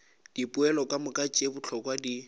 dipoelo kamoka tše bohlokwa di